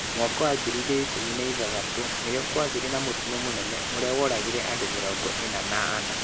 2006 nĩrĩo kwagĩire na mũtino mũnene, ũrĩa woragire andũ mĩrongo ĩna na ana.